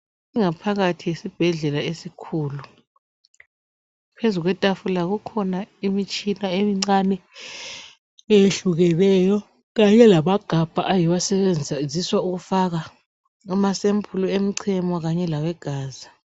ingapghakathi yesibhedlela esikhulu phezulu kwetafula kukhona imitshina emincane eyehlukeneyo kanye lamagabha ayiwo asetshenziswa ukufaka ama sempuli emchemo kanye lawe gazi